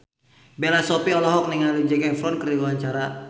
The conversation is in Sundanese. Bella Shofie olohok ningali Zac Efron keur diwawancara